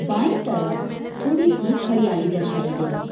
By तरफ थोड़ी सी हरियाली दर्शाई गई है।